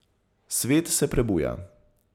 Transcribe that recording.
Svet se prebuja.